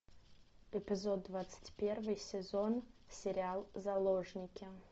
эпизод двадцать первый сезон сериал заложники